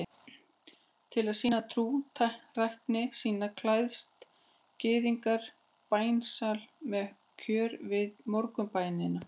Til að sýna trúrækni sína klæðist gyðingur bænasjali með kögri við morgunbænina.